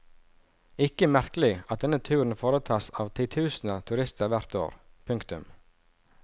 Ikke merkelig at denne turen foretas av titusener turister hvert år. punktum